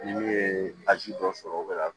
Ni min ye a ji dɔ sɔrɔ o be ka